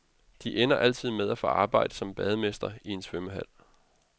De ender altid med at få arbejde som bademester i en svømmehal.